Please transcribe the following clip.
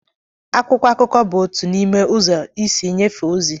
Akwụkwọ akụkọ bụ otu n'ime ụzọ isi nyefee ozi